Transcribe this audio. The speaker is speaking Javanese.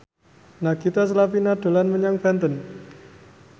Nagita Slavina dolan menyang Banten